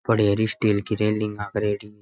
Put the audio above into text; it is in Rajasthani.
पड़िया स्टील की रेलिंग लागेड़ी।